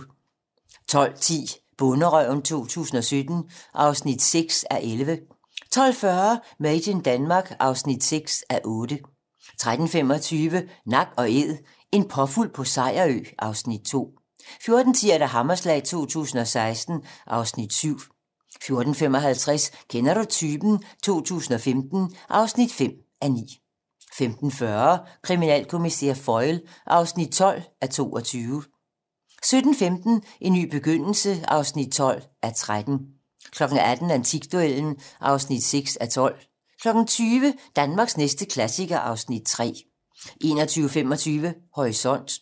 12:10: Bonderøven 2017 (6:11) 12:40: Made in Denmark (6:8) 13:25: Nak & Æd - en påfugl på Sejerø (Afs. 2) 14:10: Hammerslag 2016 (Afs. 7) 14:55: Kender du typen? 2015 (5:9) 15:40: Kriminalkommissær Foyle (12:22) 17:15: En ny begyndelse (12:13) 18:00: Antikduellen (6:12) 20:00: Danmarks næste klassiker (Afs. 3) 21:25: Horisont